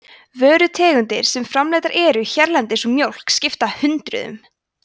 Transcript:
vörutegundir sem framleiddar eru hérlendis úr mjólk skipta hundruðum